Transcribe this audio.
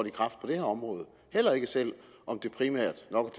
i kraft på det her område heller ikke selv om det primært nok